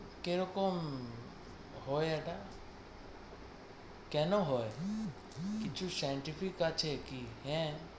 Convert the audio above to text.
কি রকম হয় এটা, কেন হয় কিছু scientific আছে কি হ্যাঁ,